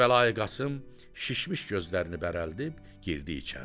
Kərbəlayı Qasım şişmiş gözlərini bərəldib girdi içəri.